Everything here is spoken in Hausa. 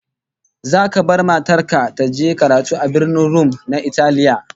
Zaka bar matar ka ta je karatu a Birnin Rum na Italiya?